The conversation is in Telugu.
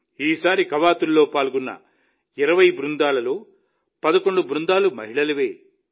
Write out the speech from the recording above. ఈసారి కవాతులో పాల్గొన్న 20 బృందాలలో 11 బృందాలు మహిళలవే